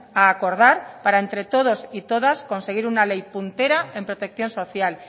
a acordar para entre todos y todas conseguir una ley puntera en protección social